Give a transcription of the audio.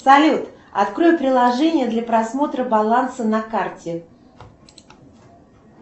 салют открой приложение для просмотра баланса на карте